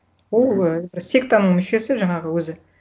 ол ы бір сектаның мүшесі жаңағы өзі